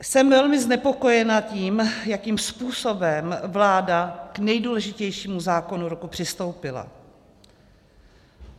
Jsem velmi znepokojena tím, jakým způsobem vláda k nejdůležitějšímu zákonu roku přistoupila.